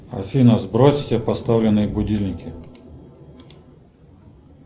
афина сбрось все поставленные будильники